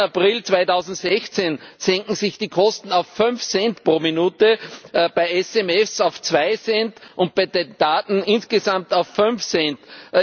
30. April 2016 senken sich die Kosten auf 5 Cent pro Minute, bei SMS auf 2 Cent und bei den Daten insgesamt auf 5 Cent.